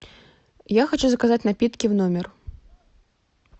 я хочу заказать напитки в номер